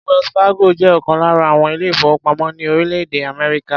Wells Fargo jẹ́ ọ̀kan lára àwọn ilé-ìfowópamọ́ ní orílẹ̀-èdè Amerika.